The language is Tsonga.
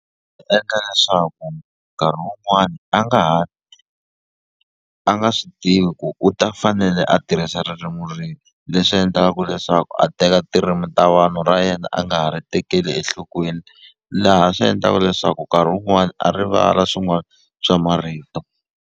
Endla leswaku nkarhi wun'wani a nga ha a nga swi tivi ku u ta fanele a tirhisa ririmi rihi leswi endlaka leswaku a teka tirimi ta vanhu ra yena a nga ha ri tekeli enhlokweni laha swi endlaka leswaku nkarhi wun'wani a rivala swin'wana swa marito.